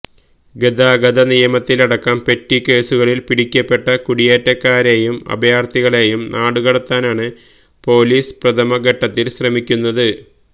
ഗതാഗത നിയമത്തിലടക്കം പെറ്റി കേസുകളില് പിടിക്കപ്പെട്ട കുടിയേറ്റക്കാരെയും അഭയാര്ഥികളെയും നാടുകടത്താനാണ് പോലീസ് പ്രഥമഘട്ടത്തില് ശ്രമിക്കുന്നത്